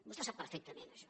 vostè ho sap perfectament això